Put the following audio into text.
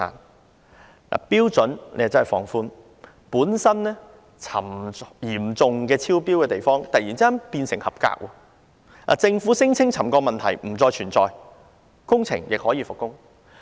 它放寬了標準，令本來嚴重超標的地方突然變為合格，政府聲稱沉降問題不再存在，工程亦可以復工。